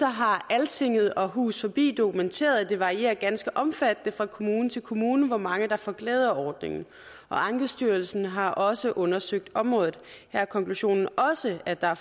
har altinget og hus forbi dokumenteret at det varierer ganske omfattende fra kommune til kommune hvor mange der får glæde af ordningen ankestyrelsen har også undersøgt området her er konklusionen også at der